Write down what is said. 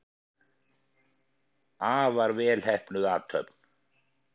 Afar vel heppnuð athöfn.